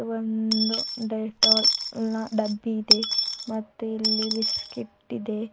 ಒಂದು ಡೆಟ್ಟೋಲ್ ನ ಡಬ್ಬಿ ಇದೆ ಮತ್ತೆ ಇಲ್ಲಿ ಬಿಸ್ಕೆಟ್ ಇದೆ.